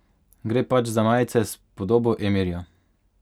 Gre pač za majice s podobo emirja.